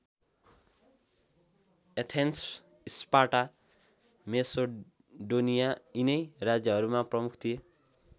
Athens Sparta Macedonia यिनै राज्यहरूमा प्रमुख थिए।